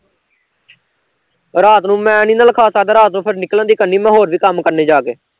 ਰਾਤ ਨੂੰ ਮੈਂ ਨੀ ਨਾ ਲਿਖ ਸਕਦਾ ਰਾਤ ਨੂੰ ਫਿਰ ਨਿਕਲਣ ਦੀ ਕਰਣੀ ਮੈਂ ਹੋਰ ਵੀ ਕੰਮ ਕਰਨੇ ਜਾਂ ਕੇ